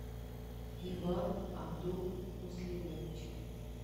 иван абдул муслимович